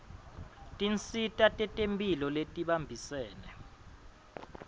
tinsita tetemphilo letibambisene